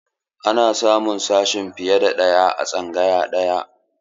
Ana iya samun sashe fiye da ɗaya a tsangaya ɗaya.